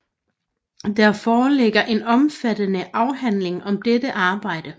Der foreligger en omfattende afhandling om dette arbejde